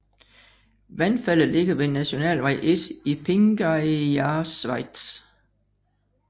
Vandfaldet ligger ved nationalvej 1 i Þingeyjarsveit